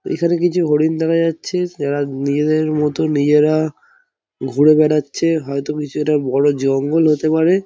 এখানে কিছু হরিণ দেখা যাচ্ছে | যারা নিজেদের মতো নিজেরা ঘুরে বেড়াচ্ছে | হয়তো কিছু একটা বড় জঙ্গল হতে পারে ।